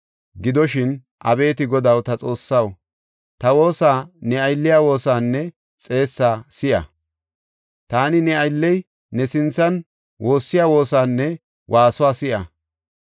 Gidoshin, abeeti Godaw, ta Xoossaw, ta woosa, ne aylliya woosaanne xeessaa si7a. Taani ne aylley ne sinthan woossiya woosaanne waasuwa si7a.